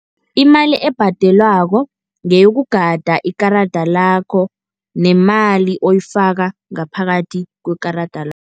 Imali ebhadelwako ngeyokugada ikarada lakho nemali oyifaka ngaphakathi kwekarada .